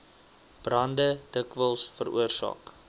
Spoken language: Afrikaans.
brande dikwels veroorsaak